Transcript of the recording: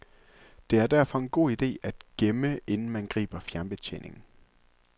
Det er derfor en god idé at gemme, inden man griber fjernbetjeningen.